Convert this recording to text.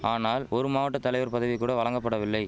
ஆனால் ஒரு மாவட்ட தலைவர் பதவி கூட வழங்கபடவில்லை